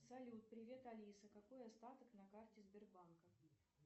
салют привет алиса какой остаток на карте сбербанка